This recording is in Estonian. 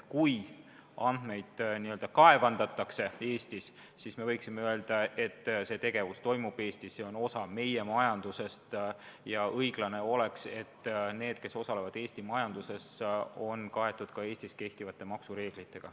Kui andmeid n-ö kaevandatakse Eestis, siis me võiksime öelda, et see tegevus toimub Eestis, see on osa meie majandusest, ja õiglane oleks, et nendele, kes osalevad Eesti majanduses, kehtivad ka Eesti maksureeglid.